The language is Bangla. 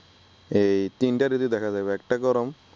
এই তিনটা ঋতু দেখা যাবে একটা গরম